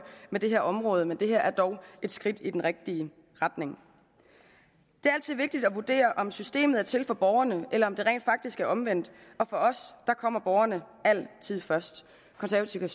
med det her område men det her er dog et skridt i den rigtige retning det er altid vigtigt at vurdere om systemet er til for borgerne eller om det rent faktisk er omvendt og for os kommer borgerne altid først konservative